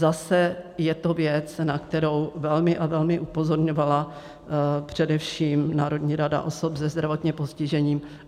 Zase je to věc, na kterou velmi a velmi upozorňovala především Národní rada osob se zdravotním postižením.